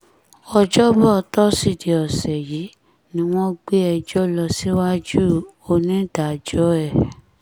ọjọ́bọ tọ́sídẹ̀ẹ́ ọ̀sẹ̀ yìí ni wọ́n gbé ẹjọ́ lọ síwájú onídàájọ́ ẹ̀